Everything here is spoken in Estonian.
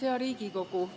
Hea Riigikogu!